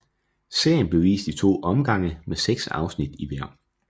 Serien blev vist i to omgange med seks afsnit i hver